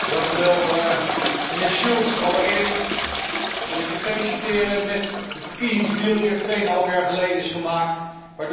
Meneer Schulz, allereerst wil ik u feliciteren met de verkiezingsdeal die twee en een half jaar geleden is gemaakt en waardoor u nu op uw plek zit.